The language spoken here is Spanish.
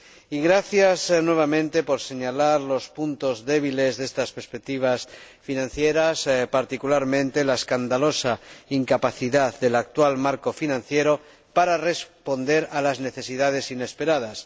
Y, gracias, nuevamente, por señalar los puntos débiles de estas perspectivas financieras, particularmente, la escandalosa incapacidad del actual marco financiero para responder a las necesidades inesperadas.